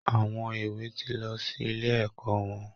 Àwọn èwè ti lọ sí ilé ẹ̀kọ́ wọn